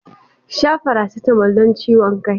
Sha faracetamol don ciwon kan.